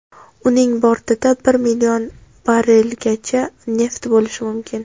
Uning bortida bir million barrelgacha neft bo‘lishi mumkin.